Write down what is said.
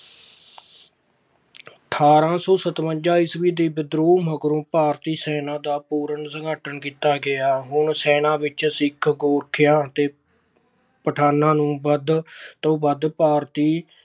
ਅਠਾਰਾਂ ਸੌ ਸਤਵੰਜਾ ਈਸਵੀ ਦੇ ਵਿਦਰੋਹ ਮਗਰੋਂ ਭਾਰਤੀ ਸੈਨਾ ਦਾ ਪੁਨਰ ਸੰਗਠਨ ਕੀਤਾ ਗਿਆ। ਹੁਣ ਸੈਨਾ ਵਿੱਚ ਸਿੱਖ, ਗੋਰਖਿਆ ਅਤੇ ਪਠਾਨਾਂ ਨੂੰ ਵੱਧ ਤੋਂ ਵੱਧ ਭਰਤੀ